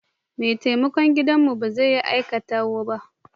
Mai taimakon gidanmu ba zai yi aikinta ba.